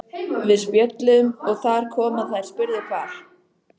Við spjölluðum og þar kom að þær spurðu hvar